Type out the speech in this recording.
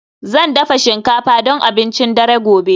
Zan dafa shinkafa don abincin dare gobe